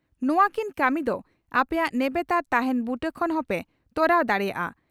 ᱱᱚᱣᱟ ᱠᱤᱱ ᱠᱟᱹᱢᱤ ᱫᱚ ᱟᱯᱮᱭᱟᱜ ᱱᱮᱵᱮᱛᱟᱨ ᱛᱟᱦᱮᱸᱱ ᱵᱩᱴᱟᱹ ᱠᱷᱚᱱ ᱦᱚᱸᱯᱮ ᱛᱚᱨᱟᱣ ᱫᱟᱲᱮᱭᱟᱜᱼᱟ ᱾